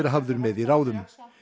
hafður með í ráðum